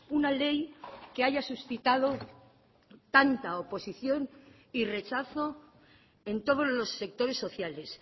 una ley que haya suscitado tanta oposición y rechazo en todos los sectores sociales